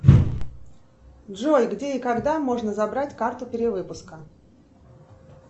джой где и когда можно забрать карту перевыпуска